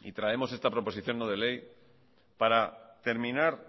y traemos esta proposición no de ley para terminar